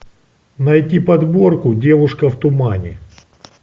найти подборку девушка в тумане